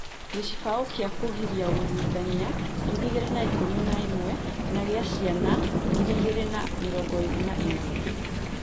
Gĩcibao kĩa kũgiria ũruithia 2011 na gĩa ciana 2022